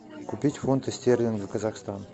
купить фунты стерлингов казахстан